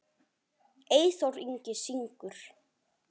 Eyþór Ingi syngur.